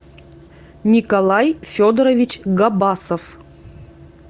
николай федорович габасов